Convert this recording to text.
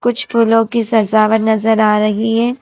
कुछ फूलों की सजावट नजर आ रही है।